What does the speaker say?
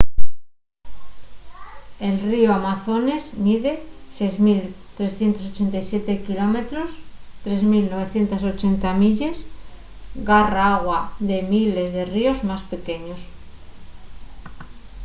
el ríu amazones mide 6.387 km 3.980 milles. garra agua de miles de ríos más pequeños